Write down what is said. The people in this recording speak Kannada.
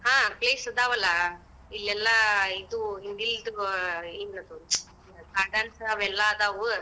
ಹಾ place ಅದಾವಲ್ಲಾ, ಇಲ್ಲೇಲ್ಲಾ, ಇದು ಹಿಂದಿಲ್ದು, ಆ ಏನದು ಕಾಟನ್ಸ ಅವೆಲ್ಲಾ ಅದಾವು.